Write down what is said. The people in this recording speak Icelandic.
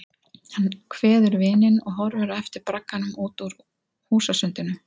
Hann kveður vininn og horfir á eftir bragganum út úr húsasundinu.